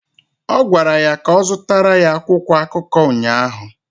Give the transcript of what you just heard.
Ọ gwara ya ka ọ zụtara ya akwụkwọ akụkọ ụnyaahụ!